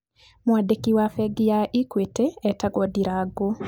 Mwandiki wa bengi ya Equity etwagwo Ndirangũ.